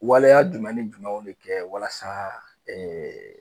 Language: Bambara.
Waleya jumɛn ni jumɛnw ne kɛ walasa ɛɛ